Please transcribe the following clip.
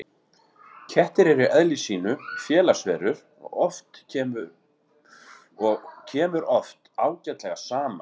kettir eru í eðli sínu félagsverur og kemur oft ágætlega saman